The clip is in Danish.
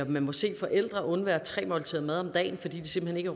man må se forældre undvære tre måltider mad om dagen fordi de simpelt hen